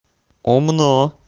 умно